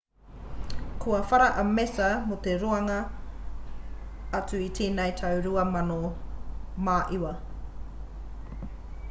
kua whara a massa mō te roanga atu o tēnei tau 2009